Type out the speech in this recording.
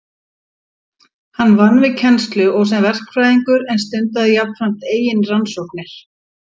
Hann vann við kennslu og sem verkfræðingur en stundaði jafnframt eigin rannsóknir.